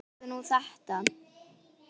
Sjáðu nú þetta!